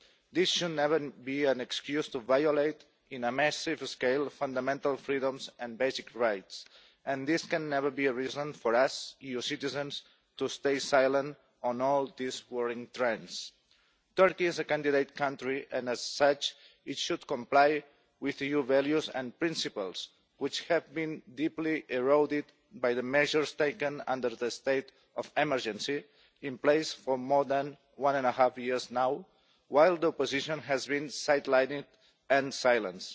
This should never be an excuse to violate, on a massive scale, fundamental freedoms and basic rights, and it can never be a reason for us, EU citizens, to stay silent on all these worrying trends. Turkey is a candidate country and, as such, it should comply with EU values and principles, which have been deeply eroded by the measures taken under the state of emergency that has been in place for more than one and a half years now, while the opposition has been sidelined and silenced.